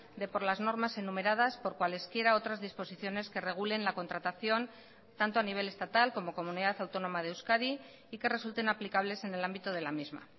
de por las normas enumeradas por cualesquiera otras disposiciones que regulen la contratación tanto a nivel estatal como comunidad autónoma de euskadi y que resulten aplicables en el ámbito de la misma